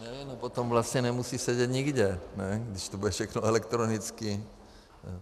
Tak potom vlastně nemusí sedět nikde, když to bude všechno elektronicky.